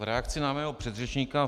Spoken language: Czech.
V reakci na mého předřečníka.